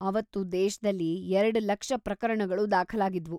ಅವತ್ತು ದೇಶ್ದಲ್ಲಿ ಎರಡ್ ಲಕ್ಷ ಪ್ರಕರಣಗಳು ದಾಖಲಾಗಿದ್ವು.